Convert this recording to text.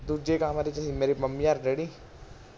ਦੂਜੇ ਕਮਰੇ ਚ ਸੀ ਮੇਰੇ ਅਰ ਮੰਮੀ ਡੈਡੀ